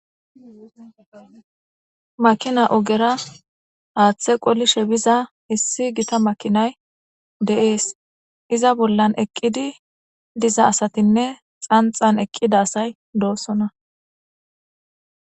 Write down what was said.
makina ogera haaththe qolishe biza issi gita makinay de7ees iza bollan eqqidi diza asatinne xanxan eqqida asay doossona